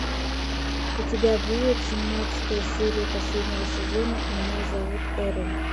у тебя будет семнадцатая серия последнего сезона меня зовут эрл